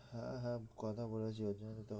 হ্যাঁ হ্যাঁ কথা বলেছি ওই জন্যই তো,